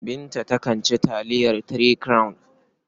Binta takan ci taliyar Three Crown.